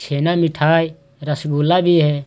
छेना मिठाई रसगुल्ला भी है।